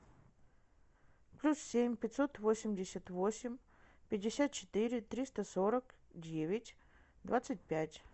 плюс семь пятьсот восемьдесят восемь пятьдесят четыре триста сорок девять двадцать пять